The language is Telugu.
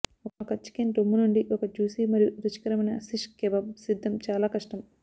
ఒక చికెన్ రొమ్ము నుండి ఒక జ్యుసి మరియు రుచికరమైన శిష్ కెబాబ్ సిద్ధం చాలా కష్టం